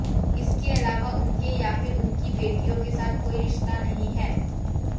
इसके अलावा उनके या फिर उनकी बेटियों के साथ कोई रिश्ता नहीं है